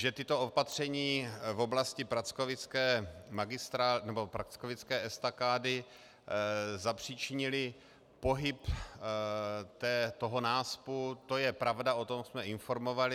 Že tato opatření v oblasti Prackovické estakády zapříčinila pohyb toho náspu, to je pravda, o tom jsme informovali.